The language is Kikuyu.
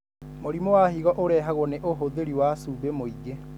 Mũrimũ wa higo ũrehagwo nĩ ũhuthĩri wa cũmbi mwĩngĩ.